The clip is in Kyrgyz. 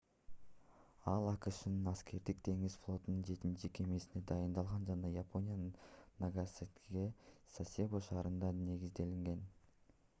ал акшнын аскердик деңиз флотунун жетинчи кемесине дайындалган жана япониянын нагасакидеги сасебо шаарында негизделген